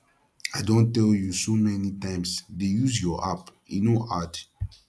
i don tell you so many times dey use your app e no hard